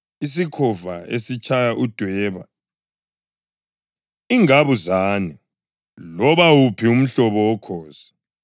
isikhova esilesicholo, isikhova esitshaya udweba, ingabuzane, loba wuphi umhlobo wokhozi,